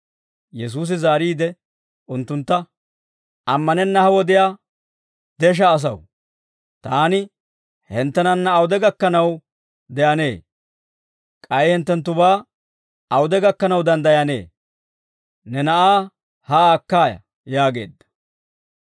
Yesuusi zaariide unttuntta, «Ammanenna ha wodiyaa desha asaw, taani hinttenanna awude gakkanaw de'anee? K'ay hinttenttubaa awude gakkanaw danddayanee? Ne na'aa haa akkaaya» yaageedda.